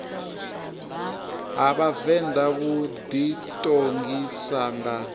ha vhavenḓa vhu ḓiṱongisa nga